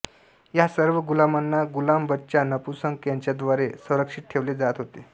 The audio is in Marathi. या सर्व गुलामांना गुलाम बचा नपुंसक यांच्याद्वारे संरक्षित ठेवले जात होते